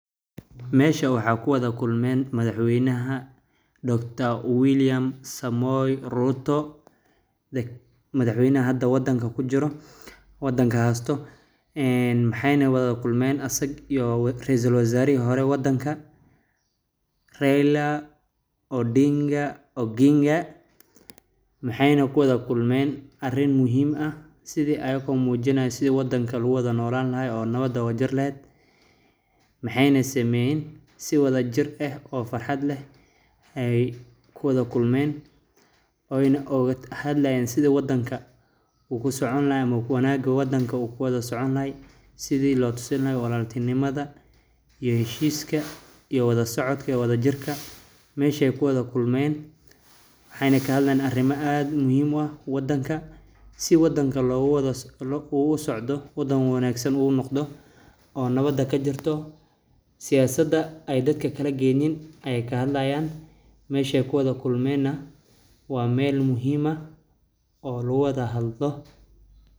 Meesha waxaa ku wada kulmeen madaxweynaha Dr William Samoe Ruto, madaxweynaha hada wadanka kujiro wadanka haasto, maxeyna wada kulmeen asag iyo raisul wazaarihi hore wadanka ,Raila Odinga Oginga maxeyna kuwada kulmeen arin muhiim ah sidi ayakoo mujinaayo sidi wadanka lagu wada nolaan lahay oo nawad ooga jiri laheed ,maxeyna sameyeen si wadajir eh oo farxad leh ay kuwada kulmeen ooyna ooga hadlayeen sidi wadanka uu kusocon lahaa ama wanaaga wadanka uu kuwada socon lahaay sidi loo tusin lahaay walaltinimada iyo heshiiska iyo wada socodka iyo wadajirka ,mesheey kuwada kulmeen waxeyna kahadlayeen arimo aad muhim u ah wadanka si wadanka uu uwada socdo oo nawada kajirto ,siyaasada ay dadka akala geynin ay ka hadlayaan ,mesheey ku wada kulmeen na wa meel muhiim ah oo lagu wada hadlo .